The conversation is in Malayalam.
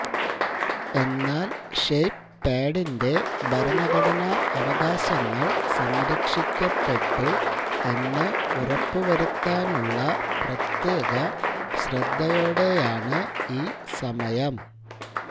എന്നാൽ ഷേപ്പ്പാഡിന്റെ ഭരണഘടനാ അവകാശങ്ങൾ സംരക്ഷിക്കപ്പെട്ടു എന്ന് ഉറപ്പുവരുത്താനുള്ള പ്രത്യേക ശ്രദ്ധയോടെയാണ് ഈ സമയം